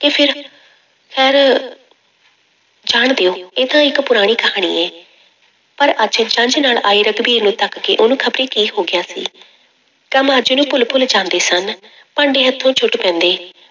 ਫਿਰ ਜਾਣ ਦਿਓ ਇਹ ਤਾਂ ਇੱਕ ਪੁਰਾਣੀ ਕਹਾਣੀ ਹੈ, ਪਰ ਅੱਜ ਜੰਞ ਨਾਲ ਆਏ ਰਘਬੀਰ ਨੂੰ ਤੱਕ ਕੇ ਉਹਨੂੰ ਖ਼ਬਰੇ ਕੀ ਹੋ ਗਿਆ ਸੀ, ਕੰਮ ਅੱਜ ਉਹਨੂੰ ਭੁੱਲ ਭੁੱਲ ਜਾਂਦੇ ਸਨ ਭਾਂਡੇ ਹੱਥੋਂ ਸੁੱਟ ਪੈਂਦੇ,